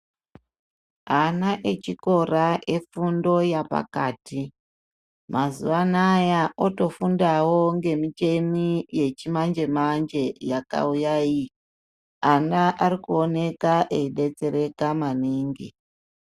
Ana echikora efundo ya pakati, mazuwanaya otofundawo ngemicheni yechimanje -manje yakauya iyi. Ana ari ku onueka eidetsereka maningi.